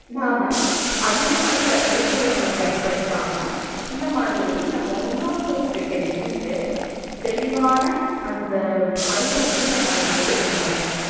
நாம அதிகமான செயற்க்கை ஊரங்களை பயன்படுத்தாம இந்த மாதிரி நம்ம முன்னோர்கள் கிட்ட இருந்து தெளிவான அந்த அறிவ நம்ம பெற்றுகணும்